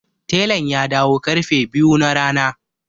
Telan ya dawo ƙarfe biyu na rana.